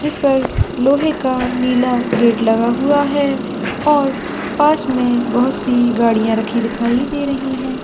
जिस पर लोहे का नीला गेट लगा हुआ है और पास में बहुत-सी गाड़ियाॅं रखी हुई दिखाई दे रही है।